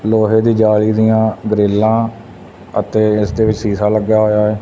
ਲੋਹੇ ਦੀ ਜਾਲੀ ਦੀਆਂ ਗ੍ਰਿੱਲਾ ਅਤੇ ਇਸ ਦੇ ਵਿੱਚ ਸੀਸਾ ਲੱਗਿਆ ਹੋਇਆ।